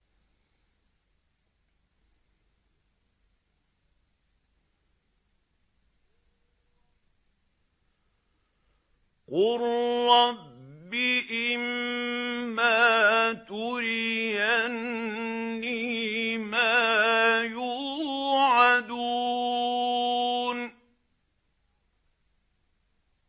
قُل رَّبِّ إِمَّا تُرِيَنِّي مَا يُوعَدُونَ